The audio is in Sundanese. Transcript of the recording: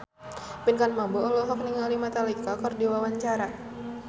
Pinkan Mambo olohok ningali Metallica keur diwawancara